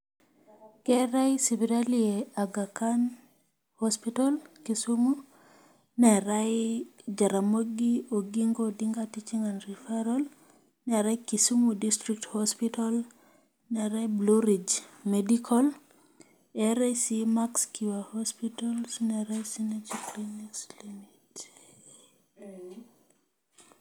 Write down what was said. Keetae sipitali e aga Khan hospital Kisumu neetae jaramogi oginga odinga teaching and referral neetae Kisumu district hospital neetae blue ridge medical eetae sii max cure hospital.